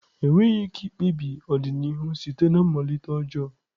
Enweghị ike ikpebi ọdịnihu site na mmalite ọjọọ.